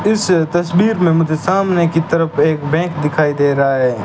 इस तस्वीर में मुझे सामने की तरफ एक बैंक दिखाई दे रहा है।